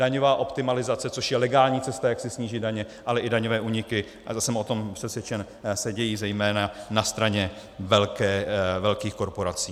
Daňová optimalizace, což je legální cesta, jak si snížit daně, ale i daňové úniky, a jsem o tom přesvědčen, se dějí zejména na straně velkých korporací.